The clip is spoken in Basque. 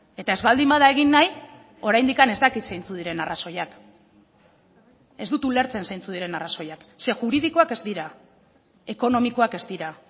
eta ez baldin bada egin nahi oraindik ez dakit zeintzuk diren arrazoiak ez dut ulertzen zeintzuk diren arrazoiak ze juridikoak ez dira ekonomikoak ez dira